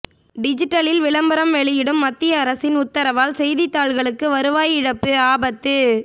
டிஜிட்டலில் விளம்பரம் வெளியிடும் மத்திய அரசின் உத்தரவால் செய்தித்தாள்களுக்கு வருவாய் இழப்பு ஆபத்து